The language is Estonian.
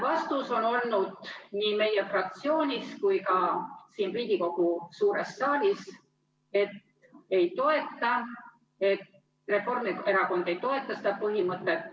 Vastus on olnud nii meie fraktsioonis kui ka siin Riigikogu suures saalis, et Reformierakond ei toeta seda põhimõtet.